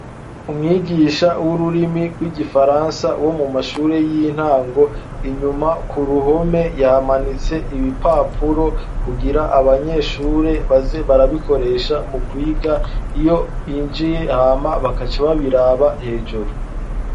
Umwigisha w'ururimi rw'igifaransa wo mu mashure y'intango, inyuma ku ruhome yahamanitse ibipapuro, kugira abanyeshure baze barabikoresha mu kwiga iyo binjiye, hama bakaca babiraba hejuru.